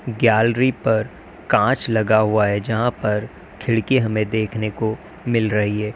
Gallery पर कांच लगा हुआ है जहां पर खिड़की हमें देखने को मिल रही है।